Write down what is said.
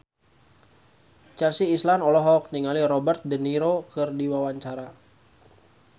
Chelsea Islan olohok ningali Robert de Niro keur diwawancara